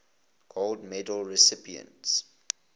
gold medal recipients